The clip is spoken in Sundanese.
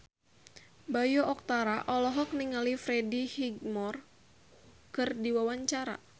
Bayu Octara olohok ningali Freddie Highmore keur diwawancara